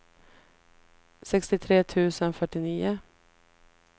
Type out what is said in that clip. sextiotre tusen fyrtionio